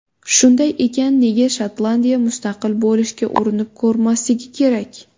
Shunday ekan, nega Shotlandiya mustaqil bo‘lishga urinib ko‘rmasligi kerak?